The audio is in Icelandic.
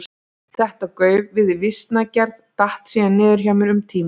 Þetta gauf við vísnagerð datt síðan niður hjá mér um tíma.